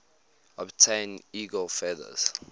obtain eagle feathers